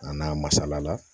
A n'a masala